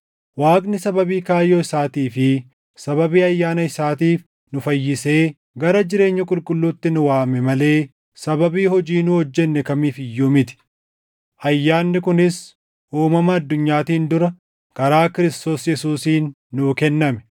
Waaqni sababii kaayyoo isaatii fi sababii ayyaana isaatiif nu fayyisee gara jireenya qulqulluutti nu waame malee sababii hojii nu hojjenne kamiif iyyuu miti. Ayyaanni kunis uumama addunyaatiin dura karaa Kiristoos Yesuusiin nuu kenname;